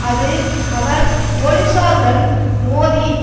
அது அவர் பொலிஸாருடன் மோதி